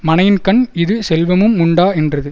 மனையின்கண் இது செல்வமுமுண்டா என்றது